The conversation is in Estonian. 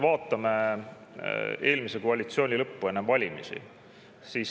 Vaatame eelmise koalitsiooni lõppu enne valimisi.